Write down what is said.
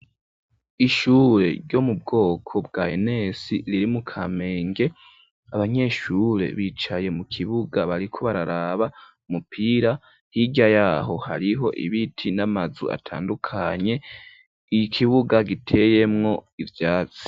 Ishure ryo mu bwoko bwa enes riri mu Kamenge, abanyeshure bicaye mu kibuga bariko bararaba umupira, hirya yaho hariho ibiti n'amazu atandukanye, ikibuga giteyemwo ivyatsi.